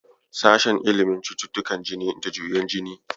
Sashen ilimin cututtukan jini da juyen jini.